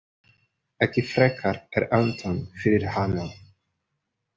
Ekki frekar en Anton fyrir hana.